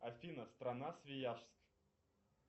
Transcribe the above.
афина страна свияжск